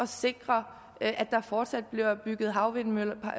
sikre at der fortsat bliver bygget havvindmølleparker